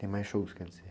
Tem mais shows, quer dizer?